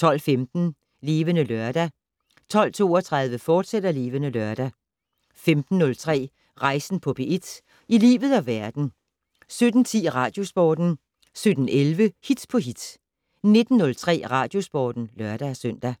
12:15: Levende Lørdag 12:32: Levende Lørdag, fortsat 15:03: Rejsen på P4 - i livet og verden 17:10: Radiosporten 17:11: Hit på hit 19:03: Radiosporten (lør-søn)